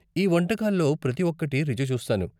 ఈ వంటకాల్లో ప్రతి ఒక్కటి రుచి చూస్తాను.